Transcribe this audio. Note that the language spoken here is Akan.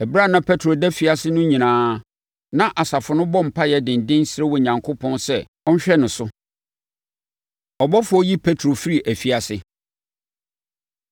Ɛberɛ a na Petro da afiase no nyinaa, na asafo no bɔ mpaeɛ denden, srɛ Onyankopɔn sɛ ɔnhwɛ ne so. Ɔbɔfoɔ Yi Petro Firi Afiase